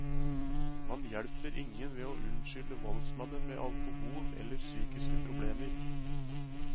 Man hjelper ingen ved å unnskylde voldsmannen med alkohol eller psykiske problemer.